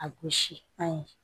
A gosi an ye